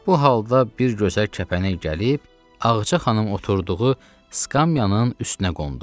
Bu halda bir gözəl kəpənək gəlib Ağaca xanım oturduğu skamyanın üstünə qondu.